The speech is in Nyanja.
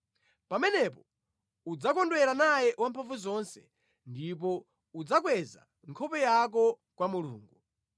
Pamenepo udzakondwera naye Wamphamvuzonse ndipo udzakweza nkhope yako kwa Mulungu.